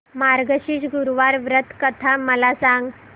मार्गशीर्ष गुरुवार व्रत कथा मला सांग